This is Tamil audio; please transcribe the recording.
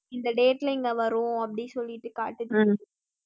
இந்த date ல இங்கே வரும் அப்படின்னு சொல்லிட்டு காட்டுது